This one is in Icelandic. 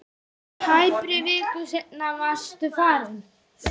Tæpri viku seinna varstu farinn.